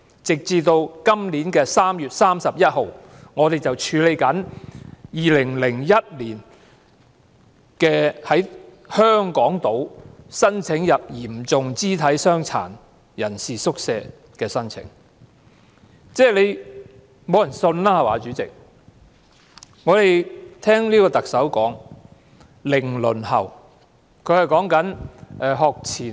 截至今年3月31日，正在處理的香港島嚴重肢體傷殘人士宿舍的入住申請，是2001年遞交的申請。